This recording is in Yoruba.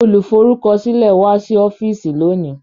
Olùforúkọsílẹ̀ wá sí ọ́fíìsì lónìí